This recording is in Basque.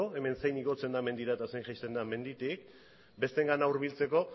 hemen zein igotzen den mendira eta zein jaisten den menditik besteengana hurbiltzeko